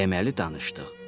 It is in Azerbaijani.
Deməli, danışdıq.